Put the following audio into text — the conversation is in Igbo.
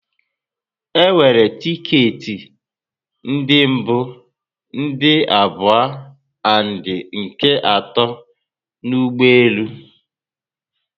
E nwere ticket ndi mbu, ndị abụọ and nke ato na ụgbọelu